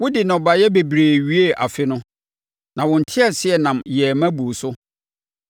Wode nnɔbaeɛ bebree wiee afe no, na wo nteaseɛnam yɛɛ ma buu so.